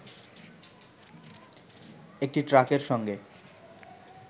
একটি ট্রাকের সঙ্গে